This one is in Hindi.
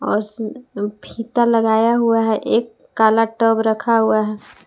और फीता लगाया हुआ है एक काला टब रखा हुआ है।